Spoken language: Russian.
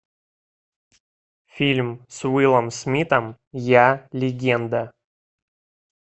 фильм с уиллом смитом я легенда